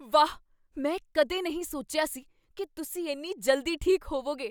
ਵਾਹ! ਮੈਂ ਕਦੇ ਨਹੀਂ ਸੋਚਿਆ ਸੀ ਕੀ ਤੁਸੀਂ ਇੰਨੀ ਜਲਦੀ ਠੀਕ ਹੋਵੋਗੇ।